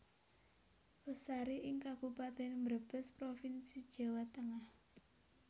Losari ing Kabupaten Brebes Provinsi Jawa Tengah